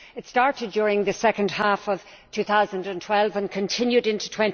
It started during the second half of 2012 and continued into